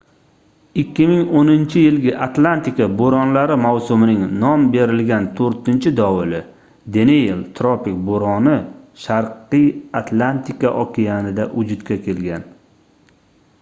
2010-yilgi atlantika boʻronlari mavsumining nom berilgan toʻrtinchi dovuli deniel tropik boʻroni sharqiy atlantika okeanida vujudga kelgan